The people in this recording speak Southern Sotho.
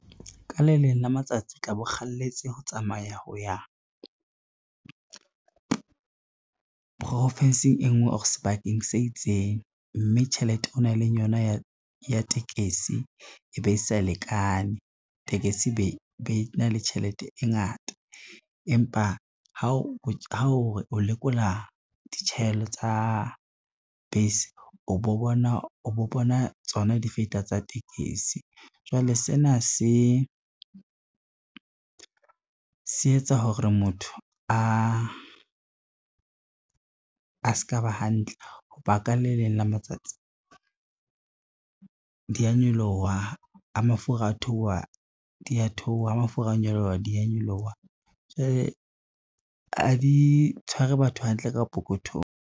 Ka le leng la matsatsi o tla bo kgalletse ho tsamaya ho ya profinsing e ngwe or sebakeng se itseng, mme tjhelete o nang le yona ya tekesi e be e sa lekane tekesi be na le tjhelete e ngata, empa ha o lekola di tsa bese, o bo bona tsona di feta tsa tekesi. Jwale sena se etsa hore motho a ska ba hantle, ho ba ka le leng la matsatsi di a nyoloha ha mafura a theoha dia theoha, ha mafura a nyoloha di a nyoloha, jwale ha di tshware batho hantle ka pokothong.